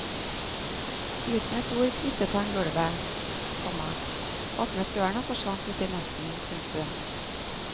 Uten et ord krysset han gulvet, komma åpnet døren og forsvant ut i natten. punktum